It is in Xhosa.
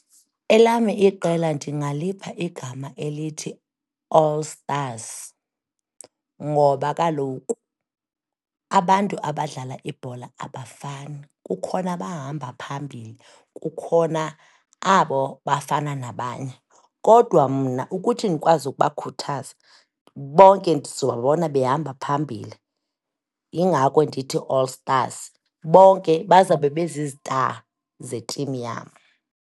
Elam iqela ndingalipha igama elithi All Stars, ngoba kaloku abantu abadlala ibhola abafani, kukhona abahamba phambili, kukhona abo bafana nabanye, kodwa mna ukuthi ndikwazi ukubakhuthaza bonke ndizobabona behamba phambili. Yingako ndithi All Stars, bonke bazabe bezi-star zetimu yam.